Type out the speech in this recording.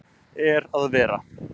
er að vera